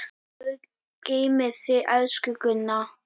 Guð geymi þig, elsku Gunna.